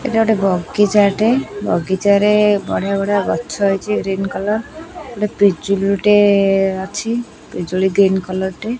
ଏଟା ଗୋଟେ ବଗିଚା ଟେ ବଗିଚାରେ ବଢିଆ ବଢିଆ ଗଛ ଅଛି ଗ୍ରୀନ କଲର୍ ଗୋଟେ ପିଜୁଳି ଟେ ଅଛି ପିଜୁଳି ଟି ଗ୍ରୀନ କଲର୍ ଟେ।